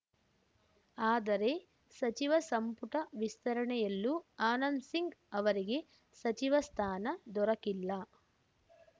ಆದರೆ ಸಚಿವ ಸಂಪುಟ ವಿಸ್ತರಣೆಯಲ್ಲೂ ಆನಂದ್‌ ಸಿಂಗ್‌ ಅವರಿಗೆ ಸಚಿವ ಸ್ಥಾನ ದೊರಕಿಲ್ಲ